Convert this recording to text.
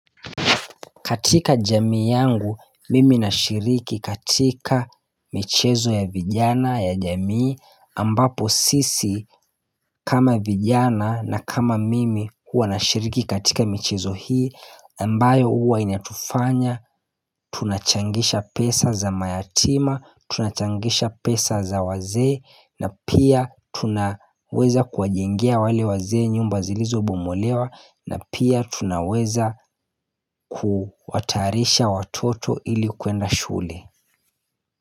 Katika jamii yangu mimi nashiriki katika michezo ya vijana ya jamii ambapo sisi kama vijana na kama mimi huwa nashiriki katika michezo hii ambayo huwa inatufanya Tunachangisha pesa za mayatima Tunachangisha pesa za wazee na pia tunaweza kuwajengea wale wazee nyumba zilizobomolewa na pia tunaweza kuwatayarisha watoto ili kuenda shule.